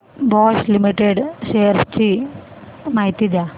Bosch limited shares ची माहिती द्या